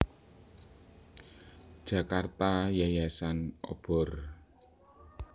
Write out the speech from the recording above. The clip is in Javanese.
Jakarta Yayasan Obor